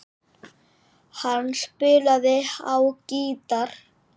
Hann spilaði á gítar.